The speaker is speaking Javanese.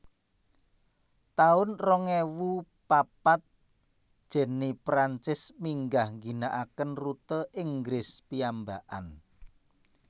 taun rong ewu papat Jenny Prancis minggah ngginakaken rute Inggris piyambakan